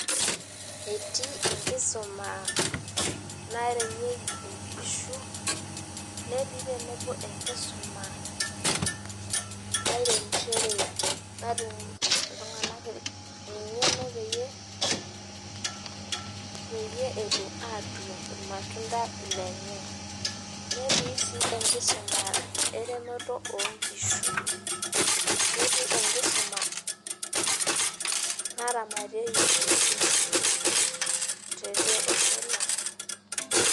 Etii enkusuma naremieki nkishunetii tenebo enkisuma nairemishore natum ltunganak engeno peyie etum atuun irmatunda lenye netii si enkisuma eremoto onkishu netii enkisuma naramatieki nkishu teleosho lang.